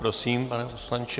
Prosím, pane poslanče.